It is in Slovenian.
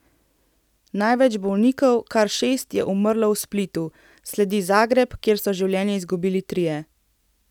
Največ bolnikov, kar šest, je umrlo v Splitu, sledi Zagreb, kjer so življenje izgubili trije.